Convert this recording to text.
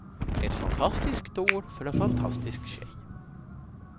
Ett fantastiskt år för en fantastisk tjej.